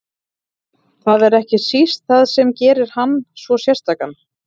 Það er ekki síst það sem gerir hann svo sérstakan.